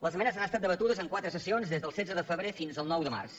les esmenes han estat debatudes en quatre sessions des del setze de febrer fins al nou de març